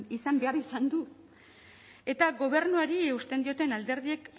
izan behar izan du eta gobernuari eusten dioten alderdiek